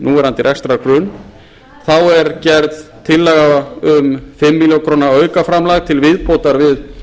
núverandi rekstrargrunn þá er gerð tillaga um fimm milljónir króna aukaframlag til viðbótar við